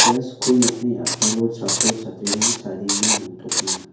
ia skul nokni a·palo chatro chatrirang chadenge dongtokenga.